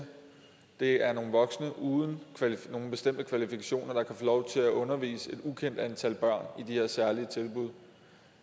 det er nogle voksne uden nogen bestemte kvalifikationer der kan få lov til at undervise et ukendt antal børn i de her særlige tilbud